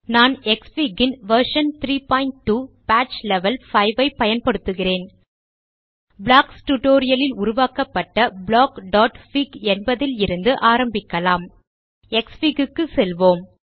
நான் க்ஸ்ஃபிக் ன் version 32 patch level 5 ஐப் பயன்படுத்துகிறேன் ப்ளாக்ஸ் டியூட்டோரியல் ல் உருவாக்கப்பட்ட blockபிக் என்பதில் இருந்து ஆரம்பிக்கலாம் க்ஸ்ஃபிக் க்குச் செல்வோம்